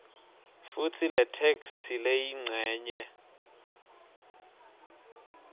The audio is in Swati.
futsi letheksthi leyincenye